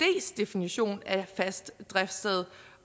definition af fast driftssted